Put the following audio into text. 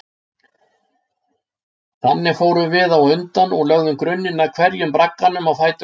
Þannig fórum við á undan og lögðum grunninn að hverjum bragganum á fætur öðrum.